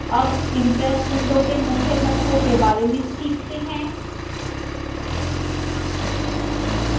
अब impress window के मुख्य घटकों के बारे में सीखते हैं